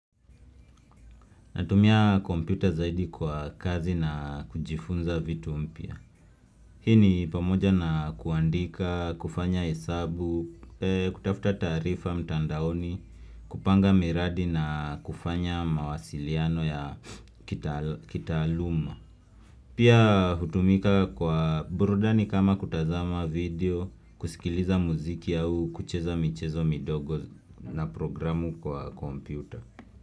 Natumia kompyuta zaidi kwa kazi na kujifunza vitu mpya Hii ni pamoja na kuandika kufanya hesabu kutafuta taarifa mtandaoni kupanga miradi na kufanya mawasiliano ya kitaaluma Pia hutumika kwa burudani kama kutazama video kusikiliza muziki au kucheza michezo midogo na programu kwa kompyuta.